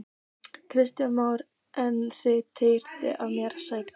Kristján Már: En þið teljið að hér sé hættuástand?